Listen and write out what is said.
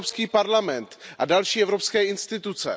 Evropský parlament a další evropské instituce.